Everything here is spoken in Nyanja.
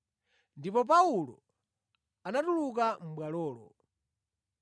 Ndipo Paulo anatuluka mʼBwalolo.